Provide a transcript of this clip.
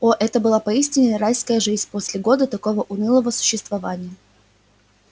о это была поистине райская жизнь после года такого унылого существования